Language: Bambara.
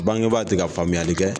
Bangebaa ti ka faamuyali kɛ.